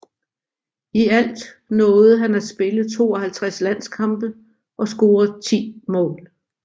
I alt nåede han at spille 52 landskampe og score ti mål